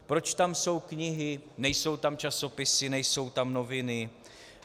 Proč tam jsou knihy, nejsou tam časopisy, nejsou tam noviny?